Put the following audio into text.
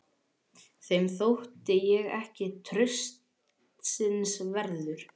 Þeim þótti ég ekki traustsins verður.